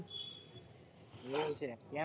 એવું છે કેમ